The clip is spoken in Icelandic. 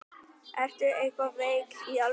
Ertu eitthvað veik. í alvöru?